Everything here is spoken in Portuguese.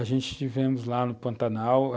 A gente estivemos lá no Pantanal.